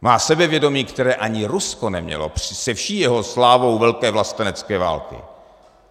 Má sebevědomí, které ani Rusko nemělo se vší jeho slávou Velké vlastenecké války.